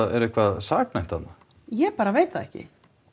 er eitthvað saknæmt þarna ég bara veit það ekki